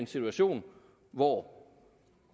situation hvor